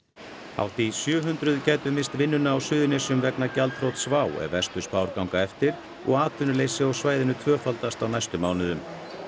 hátt í sjö hundruð gætu misst vinnuna á Suðurnesjum vegna gjaldþrots WOW ef verstu spár ganga eftir og atvinnuleysi á svæðinu tvöfaldast á næstu mánuðum